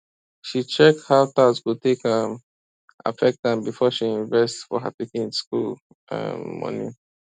she check how tax go take um affect am before she invest for her pikin school um money